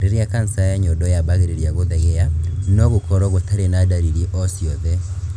Rĩrĩa kanca ya nyondo yambagĩrĩria gũthegea, no gũkorwo gũtarĩ na ndariri o ciothe